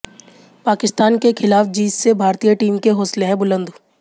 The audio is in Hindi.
पाकिस्तान के ख़िलाफ़ जीत से भारतीय टीम के हौसले हैं बुलंद